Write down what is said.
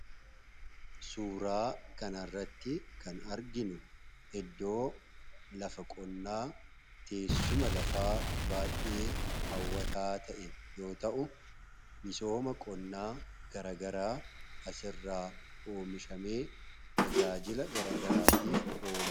suuraa kanarratti kan arginu iddoo lafa qonnaa teessuma lafaa baay'ee haawwataa ta'e yoo ta'u misooma qonnaa garagaraa asirraa oomishamee tajaajila garagaraatiif kan ooludha.